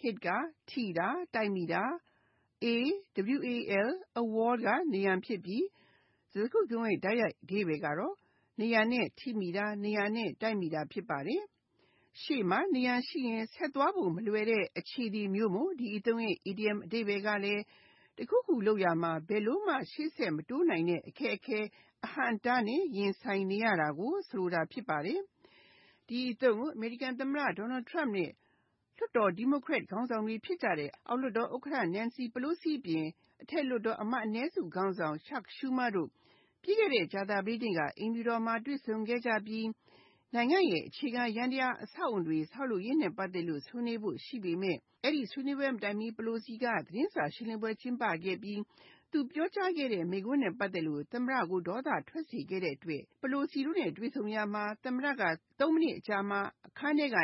Hit (ထိတာ၊ တိုက်တာ)၊ a wall (နံရံ) ဖြစ်ပြီး စကားစုတခုလုံးရဲ့ တိုက်ရိုက်အဓိပ္ပါယ်က နံရံနဲ့ ထိမိတာ၊ နံရံနဲ့ တိုက်မိတာ ဖြစ်ပါတယ်။ ရှေ့မှာ နံရံရှိရင် ဆက်သွားဖို့ မလွယ်တဲ့ အခြေအနေမျိုးမို့ ဒီအသုံးရဲ့ အီဒီယံအဓိပ္ပါယ်က တခုခုလုပ်ရာမှာ ဘယ်လိုမှ ရှေ့ဆက်မတိုးနိုင်တဲ့ အခက်အခဲ၊ အဟန့်အတားနဲ့ ရင်ဆိုင်နေရတာ ဖြစ်ပါတယ်။ ဒီအသုံးကို အမေရိကန် သမ္မတ Donald Trump နဲ့ လွှတ်တော် Democrat ခေါင်းဆောင်တွေ ဖြစ်ကြတဲ့ အောက်လွှတ်တော် ဥက္ကဋ္ဌ Nancy Pelosi အပြင် အထက်လွှတ်တော်အမတ် အနည်းစုခေါင်းဆောင် Chuck Schumer တို့ ပြီးခဲ့တဲ့ ကြာသာပတေးနေ့က အိမ်ဖြူတော်မှာ တွေ့ဆုံခဲ့ပြီး၊ နိုင်ငံ့ရဲ့ အခြေခံယန္တရား အဆောက်အအုံတွေ ဆောက်လုပ်ရေးနဲ့ ပတ်သက်လို့ ဆွေးနွေးဖို့ရှိပေမယ့် အဲဒီဆွေးနွေးပွဲမတိုင်မီ Pelosi က သတင်းစာရှင်းပွဲမှာ ပြောခဲ့တဲ့အချက်နဲ့ ပတ်သက်လို့ သမ္မတ က ဒေါသထွက်ခဲ့ပြီး Pelosi တို့နဲ့ တွေ့ဆုံရာမှာ သုံးမိနစ်အကြာ အခန်းထဲက ထ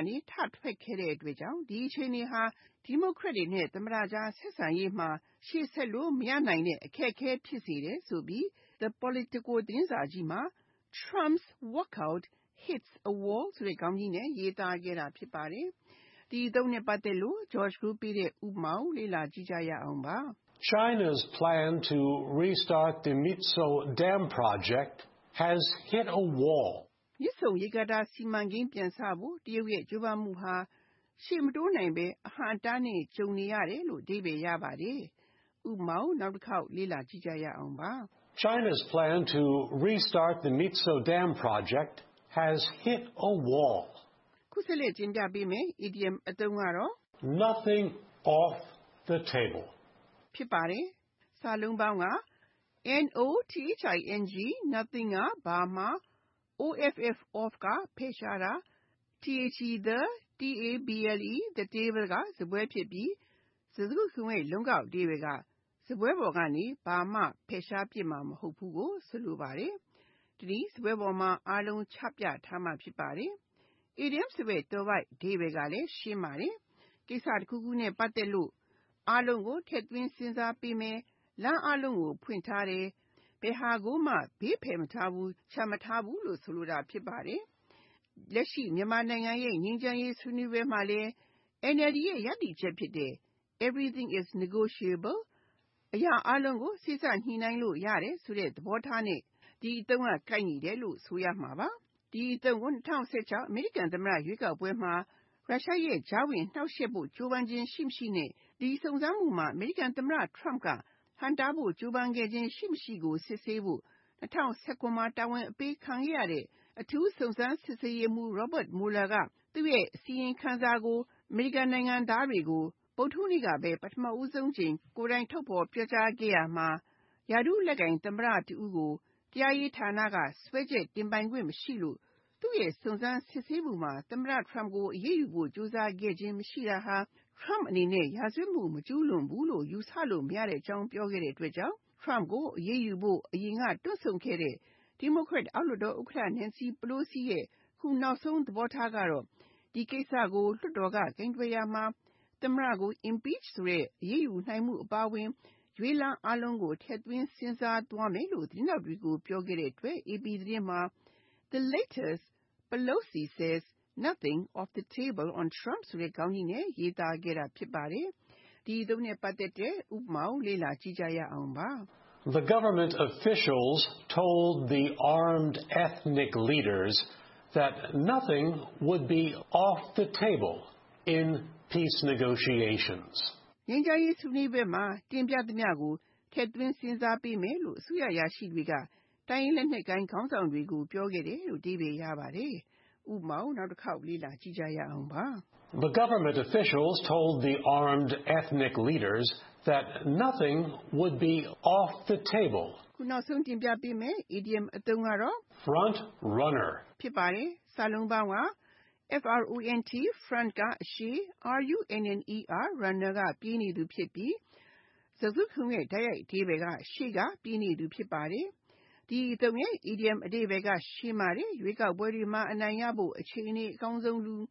ထွက်ခဲ့တဲ့အတွက် ဒီအခြေအနေဟာ Democrat တွေနဲ့ သမ္မတကြား ဆက်ဆံရေးမှာ ရှေ့ဆက်လို့ မရနိုင်တဲ့ အခက်အခဲ ဖြစ်စေတယ်ဆိုပြီး၊ The Politico သတင်းစာကြီးက “Trump’s Walkout Hits a Wall" ဆိုတဲ့ခေါင်းကြီးနဲ့ ရေးသားခဲ့တာ ဖြစ်ပါတယ်။ ဥပမာ China’s plan to restart the Myitsone dam project has “hit a wall.” မြစ်ဆုံရေကာတာ စီမံကိန်း ပြန်စဖို့ တရုတ်ရဲ့ ကြိုးပမ်းမှုဟာ ရှေ့မတိုးနိုင်ဘဲ အဟန့်အတားနဲ့ ကြုံနေရတယ်။ (၂)Nothing off the table Nothing (ဘာမှ)၊ off (ဖယ်ရှားတာ)၊ the table (စားပွဲ) ဖြစ်ပြီး စကားစုတခုလုံးရဲ့ လုံးကောက်အဓိပ္ပါယ်က စားပွဲပေါ်ကနေ ဘာမှ ဖယ်ပစ်မှာမဟုတ်ဘူး ဖြစ်ပါတယ်။ တနည်းအားဖြင့် စားပွဲပေါ်မှာ အားလုံးချပြထားမှာ ဖြစ်ပါတယ်။ Idiom ဆိုတဲ့ သွယ်ဝိုက်အဓိပ္ပါယ်ကလဲ ရှင်းပါတယ်။ ကိစ္စတခုခုနဲ့ ပတ်သက်လို့ အားလုံးကို ထည့်စဉ်းစားသွားမယ်၊ လမ်းအားလုံးကို ဖွင့်ထားတယ်၊ ဘယ်ဟာကိုမှ ဘေးဖယ်မထားဘူး၊ ချန်မထားခဲ့ဘူးကို ဆိုလိုတာ ဖြစ်ပါတယ်။ လက်ရှိ မြန်မာနိုင်ငံ ငြိမ်းချမ်းရေးဆွေးနွေးပွဲမှာ NLD ရဲ့ ရပ်တည်ချက်ဖြစ်တဲ့ ”Everything is negotiable” အရာအားလုံးကို စေ့စပ်ညှိနှိုင်းလို့ ရတယ်ဆိုတဲ့သဘောထားနဲ့ ဒီအသုံးအနှုန်း ကိုက်ညီတယ်လို့ ဆိုနိုင်ပါတယ်။ ဒီအသုံးကို ၂၀၁၆ အမေရိကန်သမ္မတ ရွေးကောက်ပွဲမှာ ရုရှားရဲ့ ကြားဝင်နှောင့်ယှက်ဖို့ ကြိုးပမ်းခြင်း ရှိမရှိ နဲ့ ဒီစုံစမ်းမှုမှာ သမ္မတ Trump က ဟန့်တားဖို့ ကြိုးပမ်းခြင်း ရှိမရှိကို စစ်ဆေးဖို့ ၂၀၁၇ မှာ တာဝန်အပေးခံခဲ့ရတဲ့ အထူးစုံစမ်းရေးမှူး Robert Mueller က သူ့ရဲ့အစီရင်ခံစာနဲ့ ပတ်သက်ပြီး အမေရိကန်နိုင်ငံသားတွေကို ဗုဒ္ဓဟူးနေ့က ပထမဆုံးအကြိမ် ကိုယ်တိုင်ထုတ်ဖေါ်ပြောကြားရာမှာ ရာထူးလက်ကိုင် သမ္မတတဦးကို တရားရေးဌာနက စွဲချက်တင်ပိုင်ခွင့်မရှိလို့ သူ့ရဲ့ စုံစမ်းစစ်ဆေးမှုမှာ သမ္မတ Trump ကို အရေးယူဖို့ ကြိုးစားခဲ့ခြင်း မရှိတာဟာ၊ Trump အနေနဲ့ ရာဇဝတ်မှု မကျူးလွန်ဘူးလို့ ယူဆလို့ မရကြောင်း ပြောခဲ့တဲ့အတွက်၊ Trump ကို အရေးယူဖို့ အစကတွန့်ဆုတ်ခဲ့တဲ့ Democrat အောက်လွှတ်တော်ဥက္ကဋ္ဌ Nancy Pelosi ရဲ့နောက်ဆုံး သဘောထားက ဒီကိစ္စကို လွှတ်တော်က ကိုင်တွယ်ရာမှာ သမ္မတကို impeach ဆိုတဲ့ အရေးယူနိုင်မှု အပါအဝင် အခြားရွေးလမ်းအားလုံးကို ထည့်စဉ်းစားသွားမယ်လို့ သတင်းထောက်တွေကို ပြောခဲ့တဲ့အတွက် AP သတင်းမှာ “The Latest: Pelosi says nothing off the table on Trump" ဆိုတဲ့ခေါင်းကြီးနဲ့ ရေးသားခဲ့တာ ဖြစ်ပါတယ်။ ဥပမာ The government official told the armed ethnic leaders that nothing would be “off the table” in peace negotiations. ငြိမ်းချမ်းရေး ဆွေးနွေးရာမှာ အားလုံးကို ထည့်စဉ်းစားပေးမယ်လို့ အစိုးရအရာရှိတွေက တိုင်းရင်းသား လက်နက်ကိုင်ခေါင်းဆောင်တွေကို ပြောခဲ့တယ်။ (၃) Front-runner Front (အရှေ့)၊ runner (ပြေးနေသူ) ဖြစ်ပြီး စကားစုတခုလုံးရဲ့ တိုက်ရိုက်အဓိပ္ပါယ်က ရှေ့ကပြေးနေသူ ဖြစ်ပါတယ်။ ဒီအသုံးရဲ့ အီဒီယံအဓိပ္ပါယ်လည်း ရှင်းပါတယ်။ ရွေးကောက်ပွဲတွေမှာ အနိုင်ရဖို့ အခြေအနေအကောင်းဆုံးလူ၊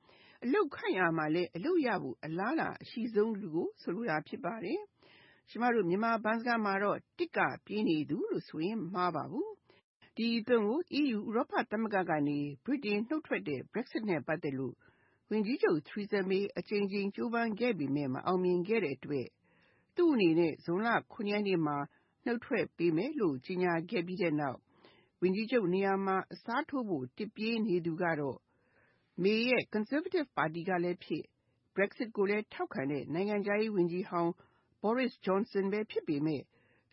အလုပ်ခန့်ရာမှာလည်း အလုပ်ရဖို့အလားအလာ အရှိဆုံးလူကို ဆိုလိုတာ ဖြစ်ပါတယ်။ ကျမတို့ မြန်မာဘန်းစကားမှာတော့ “တစ်ပြေးနေသူ” လို့ဆိုရင် မမှားပါဘူး။ ဒီအသုံးကို EU ဥရောပသမဂ္ဂကနေ ဗြိတိန်နိုင်ငံ နှုတ်ထွက်တဲ့ Brexit နဲ့ ပတ်သက်လို့ ဝန်ကြီးချုပ် Theresa May အကြိကြိမ်ကြိုးပမ်းခဲ့ပေမယ့် မအောင်မြင်ခဲ့တဲ့အတွက် May အနေနဲ့ ဇွန်လ (၇) ရက်နေ့မှာ ဝန်ကြီးချုပ်ရာထူးကနေ နှုတ်ထွက်ပေးမယ်လို့ ပြောခဲ့ပြီးနောက်၊ သူ့နေရာမှာ အစားထိုးဖို့ တစ်ပြေးနေသူကတော့ May ရဲ့ Conservative ပါတီကလည်းဖြစ် Brexit ကိုလည်း ထောက်ခံတဲ့ နိုင်ငံခြားရေးဝန်ကြီးဟောင်း Boris Johnson ပဲ ဖြစ်ပေမယ့်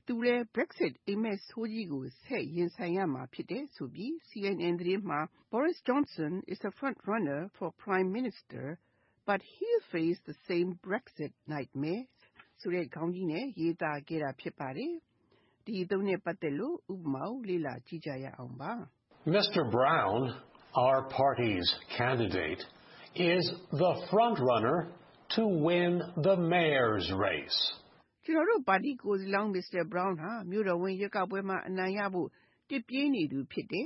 သူလည်း Brexit အိပ်မက်ဆိုးကြီးကို ဆက်ရင်ဆိုင်ရမှာ ဖြစ်တယ်ဆိုပြီး CNN သတင်းမှာ “Boris Johnson is frontrunner for PM, but he'll face the same Brexit nightmare "ဆိုတဲ့ ခေါင်းကြီးနဲ့ ရေးသားခဲ့တာ ဖြစ်ပါတယ်။ ဥပမာ Mr. Brown, our party’s candidate is the “front runner” to win the Mayor’s race. ကျနော်တို့ပါတီ ကိုယ်စားလှယ်လောင်း Mr. Brown ဟာ မြို့တော်ဝန် ရွေးကောက်ပွဲမှာ အနိုင်ရရှိဖို့ တစ်ပြေးနေသူ ဖြစ်တယ်